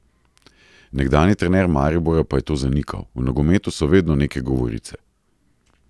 Nekdanji trener Maribora pa je to zanikal: "V nogometu so vedno neke govorice.